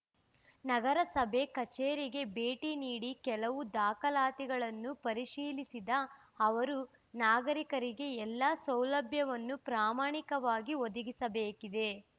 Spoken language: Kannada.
ನಗರಸಭೆ ಕಚೇರಿಗೆ ಭೇಟಿ ನೀಡಿ ಕೆಲವು ದಾಖಲಾತಿಗಳನ್ನು ಪರಿಶೀಲಿಸಿದ ಅವರು ನಾಗರಿಕರಿಗೆ ಎಲ್ಲ ಸೌಲಭ್ಯವನ್ನು ಪ್ರಾಮಾಣಿಕವಾಗಿ ಒದಗಿಸಬೇಕಿದೆ